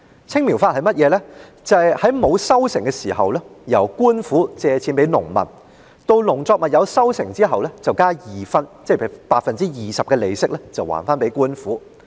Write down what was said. "青苗法"是在農作物沒有收成時由官府向農民借貸，及至農作物有收成後便加二分的利息歸還官府。